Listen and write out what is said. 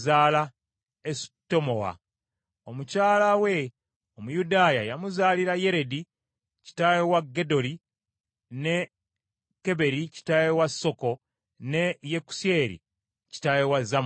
Abo be baana ba muwala wa Falaawo Bisiya, Meredi gwe yali awasizza. Omukyala we Omuyudaaya yamuzaalira Yeredi kitaawe wa Gedoli, ne Keberi kitaawe wa Soko, ne Yekusyeri kitaawe wa Zanona.